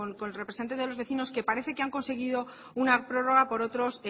con el representante de los vecinos que parece que han conseguido una prórroga por otros